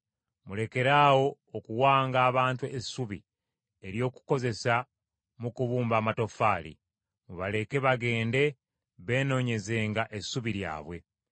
“Mulekeraawo okuwanga abantu essubi ery’okukozesa mu kubumba amatoffaali; mubaleke bagende beenoonyezenga essubi lyabwe.